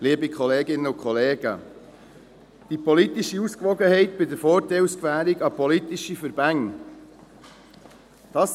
Es geht um die politische Ausgewogenheit bei der Vorteilsgewährung an politische Verbände.